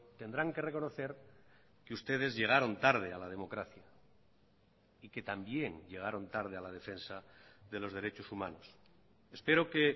tendrán que reconocer que ustedes llegaron tarde a la democracia y que también llegaron tarde a la defensa de los derechos humanos espero que